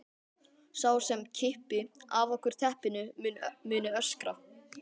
Sá sem kippi af okkur teppinu muni öskra.